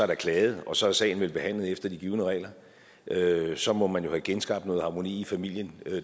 der klaget og så er sagen vel behandlet efter de givne regler regler så må man jo have genskabt noget harmoni i familien